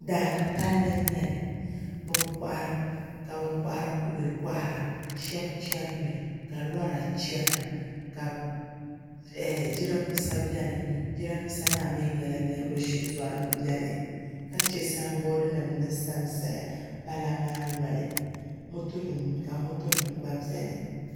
Daani palli n nyɛli ka bin kohari kubɛ kohara shaba chɛnimi ka lora chɛna ka jiranbiisa biɛni jiranbiisa maa mii nyɛla niraba shitori n biɛni ka chɛ sanbood nim ni sansaya pala maa noli ka moto nim gba biɛni